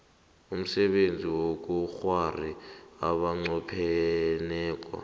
umsebenzi wobukghwari abanqopheneko